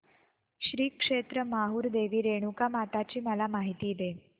श्री क्षेत्र माहूर देवी रेणुकामाता ची मला माहिती दे